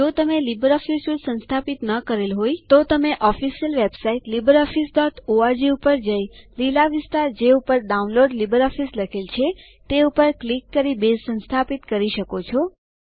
જો તમે LibreOffice suite સંસ્થાપિત ન કરેલ હોય તમે ઓફીસીયલ વેબસાઇટ httpwwwlibreofficeorg મુલાકાત લઈ અને લીલા વિસ્તાર જે ઉપર ડાઉનલોડ લિબ્રિઓફિસ લખેલ છે તે પર ક્લિક કરી બેઝ સંસ્થાપિત કરી શકો છો